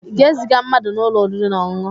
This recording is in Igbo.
Ị ga-eziga mmadụ n'ụlọ oriri na ọṅụṅụ?